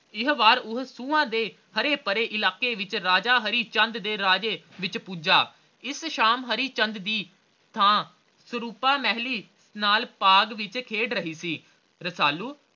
ਇਹ ਵਾਰੀ ਉਹ ਸੁਹਾ ਦੇ ਹਰੇ ਭਰੇ ਇਲਾਕੇ ਵਿਚ ਰਾਜਾ ਹਰੀਚੰਦ ਦੇ ਰਾਜੇ ਵਿਚ ਭੁੱਜਾ ਇਸ ਸ਼ਾਮ ਹਰੀਚੰਦ ਦੀ ਥਾਂ ਸਰੂਪਾ ਮਹਿਲੀਂ ਨਾਲ ਬਾਗ ਵਿਚ ਖੇਡ ਰਹੀ ਸੀ ਰਸਾਲੂ